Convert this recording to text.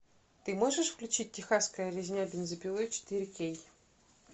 ты можешь включить техасская резня бензопилой четыре кей